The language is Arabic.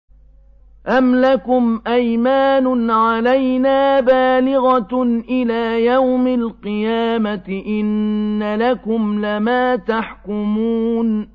أَمْ لَكُمْ أَيْمَانٌ عَلَيْنَا بَالِغَةٌ إِلَىٰ يَوْمِ الْقِيَامَةِ ۙ إِنَّ لَكُمْ لَمَا تَحْكُمُونَ